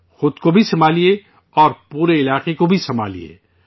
خود کو بھی سنبھالیے اور پورے علاقے کو بھی سنبھالیے